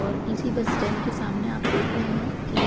और इसी bus stand के सामने आप देख रहें हैं कि